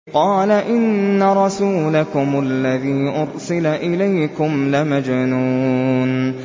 قَالَ إِنَّ رَسُولَكُمُ الَّذِي أُرْسِلَ إِلَيْكُمْ لَمَجْنُونٌ